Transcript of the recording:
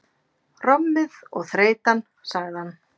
Rommið og þreytan, sagði hann.